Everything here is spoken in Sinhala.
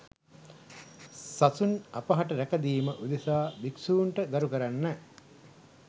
සසුන් අපහට රැකදීම උදෙසා භික්ෂූන්ට ගරු කරන්න